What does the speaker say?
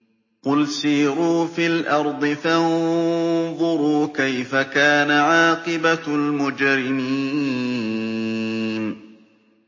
قُلْ سِيرُوا فِي الْأَرْضِ فَانظُرُوا كَيْفَ كَانَ عَاقِبَةُ الْمُجْرِمِينَ